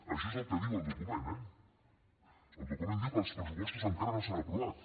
això és el que diu el document eh el document diu que els pressupostos encara no s’han aprovat